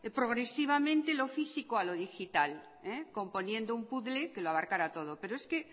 progresivamente lo físico a lo digital componiendo un puzzle que lo abarcara todo pero es que